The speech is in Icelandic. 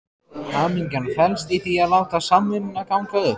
Hamingjan felst í því að láta samvinnuna ganga upp.